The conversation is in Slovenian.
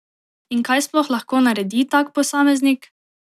In kaj sploh lahko naredi tak posameznik?